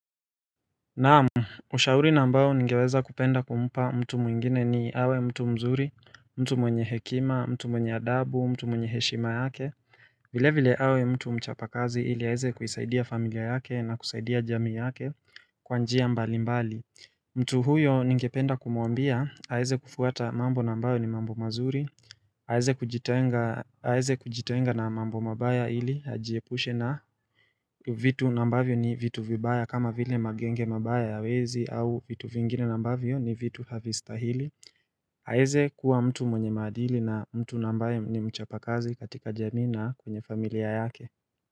Naam, ushauri nambao ningeweza kupenda kumpa mtu mwingine ni awe mtu mzuri, mtu mwenye hekima, mtu mwenye adabu, mtu mwenye heshima yake vile vile awe mtu mchapa kazi ili aeze kuisaidia familia yake na kusaidia jamii yake kwanjia mbali mbali mtu huyo ningependa kumuambia, aeze kufuata mambo nambao ni mambo mazuri Haeze kujitenga na mambo mabaya ili hajiepushe na vitu nambavyo ni vitu vibaya kama vile magenge mabaya ya wezi au vitu vingine nambavyo ni vitu havisitahili. Haeze kuwa mtu mwenye madili na mtu nambaye ni mchapakazi katika jemi na kwenye familia yake.